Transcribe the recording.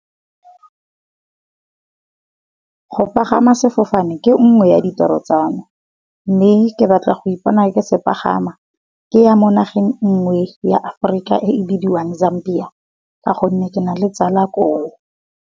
Go pagama sefofane ke nngwe ya ditiro tsa me. Mme ke batla go ipona ke se pagama, ke ya mo nageng e nngwe ya Aforika e e bidiwang Zambia ka gonne ke nale tsala koo.